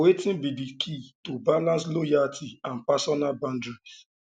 wetin be di key to balance loyalty and personal boundaries